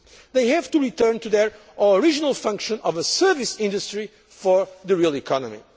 They have to return to their original function of a service industry for the real economy.